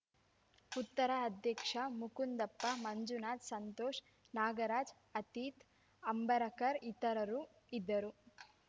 ಉತ್ತರ ಅಧ್ಯಕ್ಷ ಮುಕುಂದಪ್ಪ ಮಂಜುನಾಥ ಸಂತೋಷ ನಾಗರಾಜ ಅತೀತ್‌ ಅಂಬರಕರ್‌ ಇತರರು ಇದ್ದರು